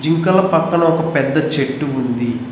జింకల పక్కన ఒక పెద్ద చెట్టు ఉంది.